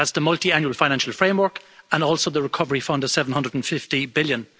That's the Multiannual Financial Framework and also the recovery fund of EUR 750 billion.